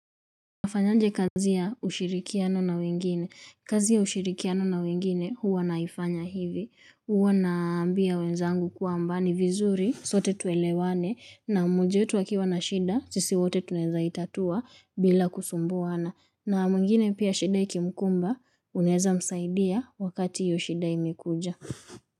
Nafanya aje kazi ya ushirikiano na wengine, kazi ya ushirikiano na wengine huwa naifanya hivi, huwa naambia wenzangu kwamba ni vizuri, sote tuelewane, na mmoja akiwa na shida, sisi wote tunaweza itatua bila kusumbuana, na mwengine pia shida ikimkumba, unaweza msaidia wakati hiyo shida imekuja.